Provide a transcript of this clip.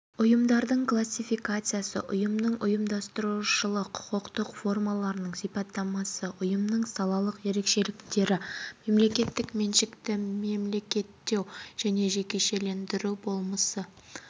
ұйымдардың классификациясы ұйымның ұйымдастырушылық құқықтық формаларының сипаттамасы ұйымның салалық ерекшеліктері мемлекеттік меншікті мемлекеттеу және жекешелендіру болмысы